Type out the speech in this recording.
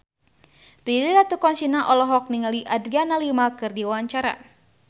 Prilly Latuconsina olohok ningali Adriana Lima keur diwawancara